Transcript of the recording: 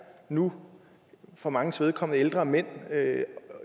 nu for manges vedkommende ældre mænd